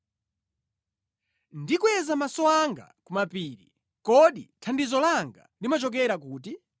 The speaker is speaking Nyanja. Ndikweza maso anga ku mapiri; kodi thandizo langa limachokera kuti?